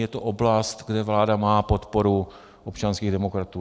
Je to oblast, kde vláda má podporu občanských demokratů.